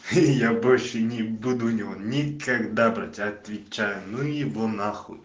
я больше не буду у него никогда брать отвечаю ну его нахуй